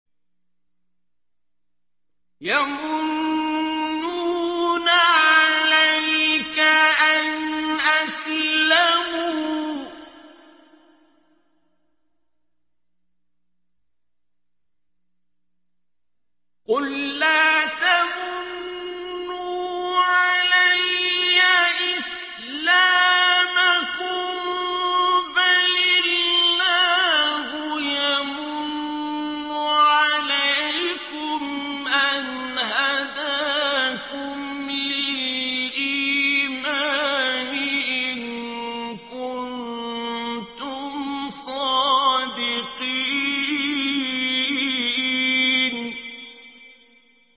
يَمُنُّونَ عَلَيْكَ أَنْ أَسْلَمُوا ۖ قُل لَّا تَمُنُّوا عَلَيَّ إِسْلَامَكُم ۖ بَلِ اللَّهُ يَمُنُّ عَلَيْكُمْ أَنْ هَدَاكُمْ لِلْإِيمَانِ إِن كُنتُمْ صَادِقِينَ